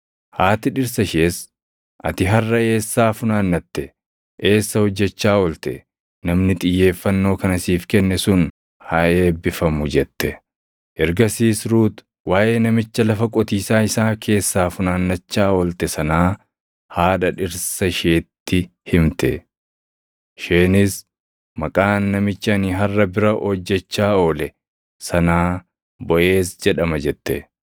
Haati dhirsa ishees, “Ati harʼa eessaa funaannatte? Eessa hojjechaa oolte? Namni xiyyeeffannoo kana siif kenne sun haa eebbifamu!” jette. Ergasiis Ruut waaʼee namicha lafa qotiisaa isaa keessaa funaannachaa oolte sanaa haadha dhirsa isheetti himte. Isheenis, “Maqaan namicha ani harʼa bira hojjechaa oole sanaa Boʼeez jedhama” jette.